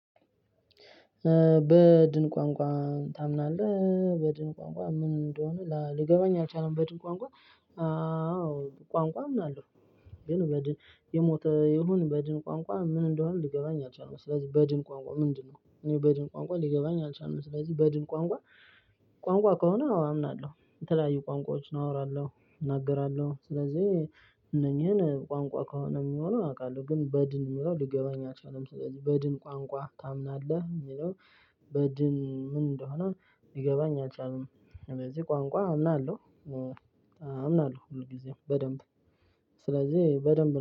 በድን ቋንቋ ታምናለህ በድን ቋንቋ ምን እንደሆነ ሊገባኝ አልቻለም በድን ቋንቋ ቋንቋ ምን አለው? ግን በድን የሞተ የሆነ በድን ቋንቋ ምን እንደሆነ ሊገባኝ አልቻልንም። ስለዚህ በድን ቋንቋ ምንድነው? እኔ በድን ቋንቋ ሊገባኝ አልቻልንም። ስለዚህ በድን ቋንቋ ከሆነ አወ አምናለሁ የተለያዩ ቋንቋዎች ነው አወራለሁ። እናገራለሁ ስለዚህ እነኚህን ቋንቋ ከሆነ የሚሆነው አውቃለሁ። ግን በድን የምለው ሊገባኝ አይችልም ስለዚህ በድን ቋንቋ ታምናለህ የሚለው? በድን ምን እንደሆነ ሊገባኝ አልቻልንም። እንደዚህ ቋንቋ አምናለሁ ብዙ ጊዜም በደንብ ስለዚህ በደንብ